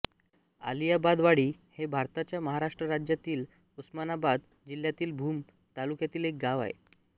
आलियाबादवाडी हे भारताच्या महाराष्ट्र राज्यातील उस्मानाबाद जिल्ह्यातील भूम तालुक्यातील एक गाव आहे